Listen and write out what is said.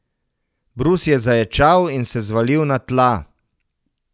Brus je zaječal in se zvalil na tla.